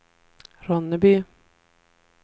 Ronneby